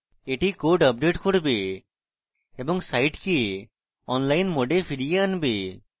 এটি code update করবে এবং সাইটকে online mode এ ফিরিয়ে আনবে